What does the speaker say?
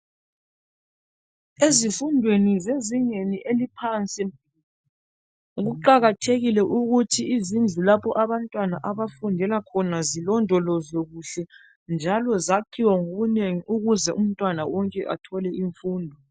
Ezifundweni zezingeni eliphansi kuqakathekile ukuthi izindlu lapho abantwana abafundela khona zilondolozwe kuhle njalo zakhiwe ngobunengi ukuze umntwana wonke athole imfundo.